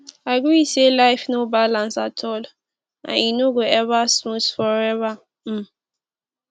agree say life no balance at all and e no go ever smooth forever um